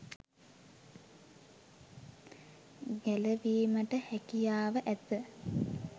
ගැලවීමට හැකියාව ඇත.